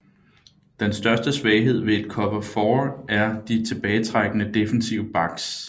Den største svaghed ved et Cover 4 er de tilbagetrækkende defensive backs